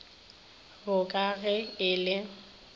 bo ka ge e le